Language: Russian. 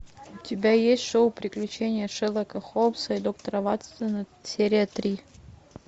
у тебя есть шоу приключения шерлока холмса и доктора ватсона серия три